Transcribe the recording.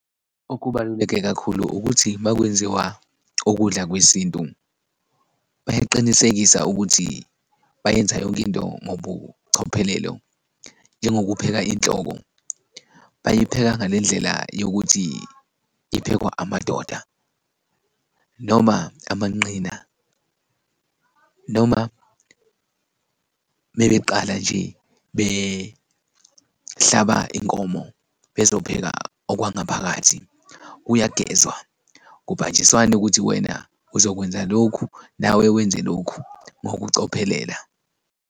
Okubaluleke kakhulu ukuthi makwenziwa ukudla kwesintu, bayaqinisekisa ukuthi bayenza yonkinto ngobucophelelo, njengokupheka inhloko, bayipheka ngale ndlela yokuthi iphekwa amadoda noma amanqina noma mebeqala nje behlaba inkomo bezopheka okwangaphakathi, kuyagezwa, kubanjiswane ukuthi wena uzokwenza lokhu nawe wenze lokhu ngokucophelela.